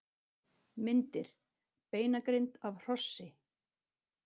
Myndir: Beinagrind af hrossi.